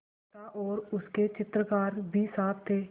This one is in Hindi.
अमृता और उसके चित्रकार भी साथ थे